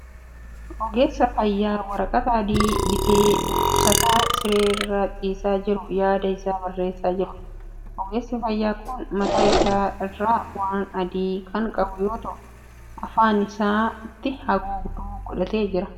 Ogeessa fayyaa waraqata adii baatee dhukkubsataa siree irra ciisaa jiru yaada isaa barreessaa jiruudha. Ogeessi fayyaa kun mataa isaa irraa waan adii kan qabu yoo ta'u afaan isaatti haguugduu godhatee jira.